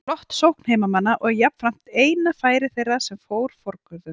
Flott sókn heimamanna og jafnframt eina færi þeirra sem fór forgörðum.